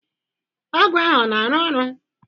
Ọgwụ ahụ ọ na-arụ ọrụ?